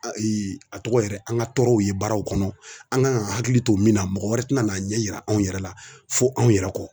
Ayi a tɔgɔ yɛrɛ an ka tɔɔrɔw ye baaraw kɔnɔ an kan ga hakili to min na mɔgɔ wɛrɛ tina n'a ɲɛ yira anw yɛrɛ la fɔ anw yɛrɛ kɔ